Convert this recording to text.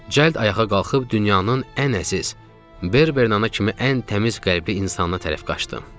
Cəld ayağa qalxıb dünyanın ən əziz, Bernerd ana kimi ən təmiz qəlbli insanına tərəf qaçdım.